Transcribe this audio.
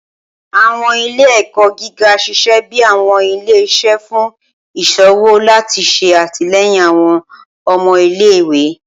Awọn ile-ẹkọ giga ṣiṣẹ bi awọn ile-iṣẹ fun iṣowo lati ṣe atilẹyin awọn ọmọ ile-iwe.